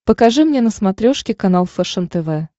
покажи мне на смотрешке канал фэшен тв